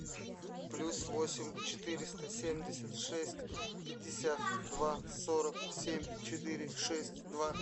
плюс восемь четыреста семьдесят шесть пятьдесят два сорок семь четыре шесть два